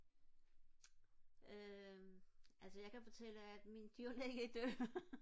øhm altså jeg kan fortælle at min dyrlæge er død